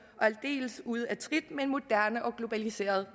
og aldeles ude af trit med en moderne og globaliseret